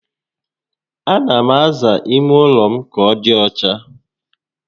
A na m aza ime ụlọ ka ọ dị ọcha